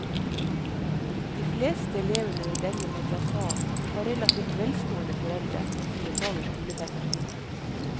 De fleste elevene ved denne madrasaen har relativt velstående foreldrene, som betaler skolepenger.